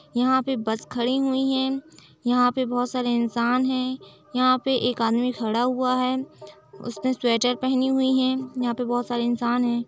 यहाँ पर बस खड़ी हुई है। यहाँ पे बहोत सारे इंसान हैं। यहाँ पे एक आदमी खड़ा हुआ है। उसने स्वेटर पहनी हुई है। यहाँ पे बोहोत सारे इंसान है।